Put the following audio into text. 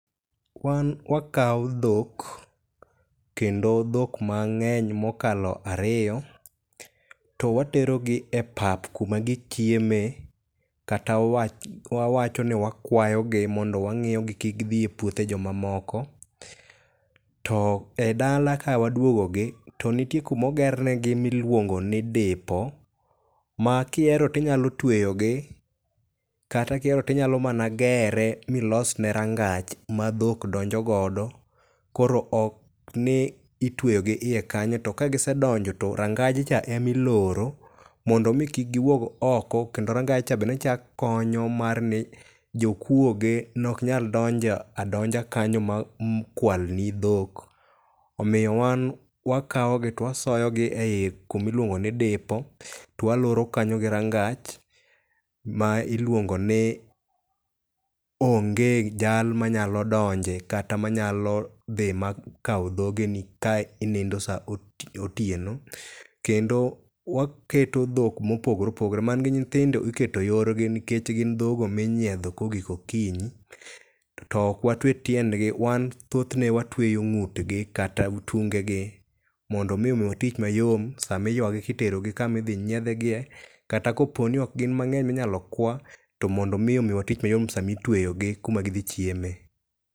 Wan wakawo dhok kendo dhok mang'eny mokalo ariyo, to watero gi e pap kuma gichiemee kata wawacho ni wakuayogi mondo wang'iyogi kik gidhi e puothe joma moko. To e dala kawaduogogi to nitie kuma oger negi miluongo ni dipo ma kihero to inyalo tweyo gi kata ka ihero to inyalo mana gere ma ilosne rangach madhok donjo go, koro ok ni itweyogi iye kanyo to ka gisedonjo to rangaj cha ema iloro, mondo mi kik giwuog oko. Kendo rangaj cha bende ne chako konyo nikech jokuoye ok nyal donjo adonja kanyo makwal ni dhok. Omiyo wan wakawo gi to wasoyogi eiye kuma iluongo ni dipo to waloo kanyo gi rangach ma iluongo ni onge jal manyalo donje kata manyalo dhi makaw dhogeni ka inindo saa otieno, kendo waketo dhok mopogore opogore, man gi nyithindo iketo yorgi nikech gin dhok ma inyiedho ka ogik okinyi to ok watue tiendgi nikech wan thothne watueyo ng'utgi kata tung gi mondo mi omiwa tich mayot sama iywagi kiterogi kuma idhi nyiedh giye kata kopo ni ok hgin mang'eny minyalo kwa to mondo mi omiwa tich mayot sama itueyogi kuma gidhi chiemee.